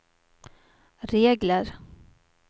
regler